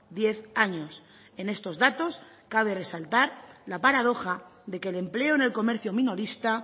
diez años en estos datos cabe resaltar la paradoja de que el empleo en el comercio minorista